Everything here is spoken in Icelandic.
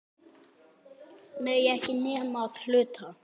Nei, ekki nema að hluta.